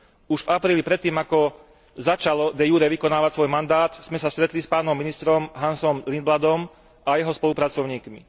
Už v apríli, predtým, ako začalo de jure vykonávať svoj mandát, sme sa stretli s pánom ministrom Hansom Lindbladom a jeho spolupracovníkmi.